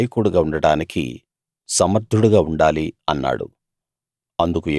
వాళ్లకు నాయకుడుగా ఉండడానికి సమర్థుడుగా ఉండాలి అన్నాడు